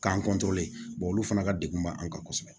K'an olu fana ka degun b'an kan kosɛbɛ